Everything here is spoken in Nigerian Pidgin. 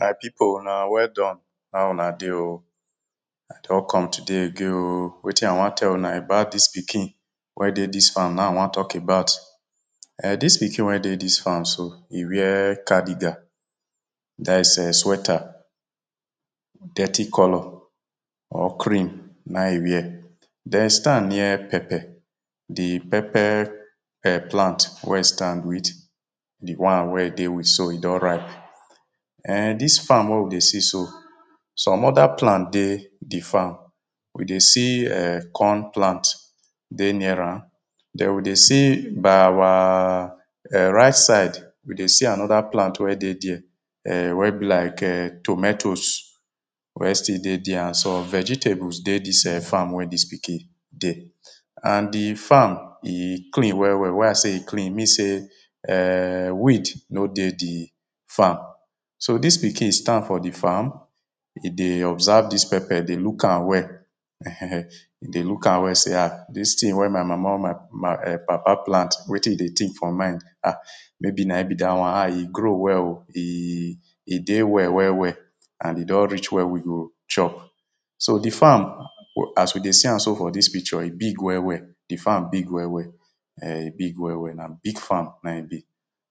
My people, una well done. How una dey o? I don come today again o. Wetin I wan tell una about dis pikin wey dey dis farm na im I wan talk about. Eh, dis pikin wey dey dis farm so e wear cardigan, that is, um sweater. Dirty colour or cream na im e wear. Den e stand near pepper. Di pepper um plant wey e stand with, di one wey e dey with so, e don ripe. um dis farm wey we dey see so, some other plant dey di farm. We dey see um corn plant dey near am. Then we dey see by our um right side, we dey see another plant wey dey dia, um wey be like um tomatoes wey still dey dia and some vegetables dey dis um farm wey dis pikin dey. And di farm, e clean well well. Why I say e clean, e mean say um weed no dey di farm. So dis pikin stand for di farm e dey observe dis pepper. E dey look am well ehen. E dey look am well, e say "Ah! Dis tin wey my mama or my my um papa plant, wetin e dey think for mind. Ah! Maybe na im be that one. Ah! E grow well o. E E dey well well well and e don reach wey we go chop. So di farm as we dey see am so for dis picture, e big well well. Di farm big well well. um e big well well. Na big farm na im e be.